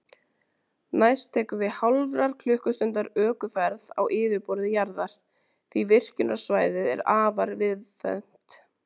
Næst tekur við hálfrar klukkustundar ökuferð á yfirborði jarðar, því virkjunarsvæðið er afar víðfeðmt.